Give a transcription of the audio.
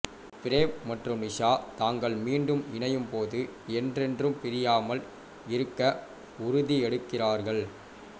frame மற்றும் நிஷா தாங்கள் மீண்டும் இணையும் போது என்றென்றும் பிரியாமல் இருக்க உறுதியெடுக்கிறார்கள்